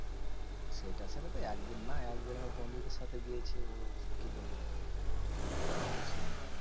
সেটা সেটাতো একদিন না? একদিন আমি বন্ধুদের সাথে গিয়েছি ওর কি বলবো? সবাই মিলে ছিলাম।